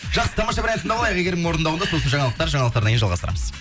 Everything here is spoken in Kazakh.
жақсы тамаша бір ән тыңдап алайық әйгерімнің орындауында сосын жаңалықтар жаңалықтардан кейін жалғастырамыз